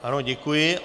Ano, děkuji.